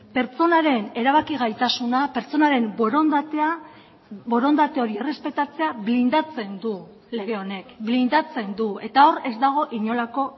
pertsonaren erabaki gaitasuna pertsonaren borondatea borondate hori errespetatzea blindatzen du lege honek blindatzen du eta hor ez dago inolako